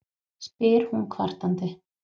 spyr hún kvartandi.